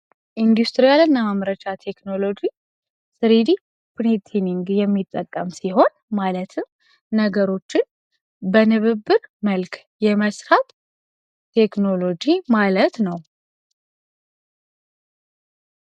ኢንዱስትሪ ቴክኖሎጂ የሚጠቀም ሲሆን ማለትም ነገሮችን በንብብ መልክ የማስፋት ቴክኖሎጂ ማለት ነው